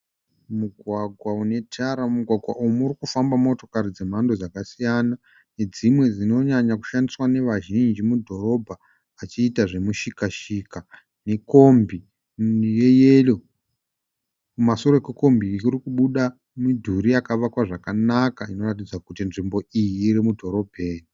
Mugwagwa une tara. Mugwagwa umu murikufamba motokari dzemhando dzakasiyana. Nedzimwe dzinonyanyakushandiswa nevazhinji mudhorobha vachiita zvemushikashika nekombi yeyero. Kumasure kwekombi iyi kuri kubuda midhuri yakavakwa zvakanaka inoratidza kuti nzvimbo iyi iri mudhorobheni.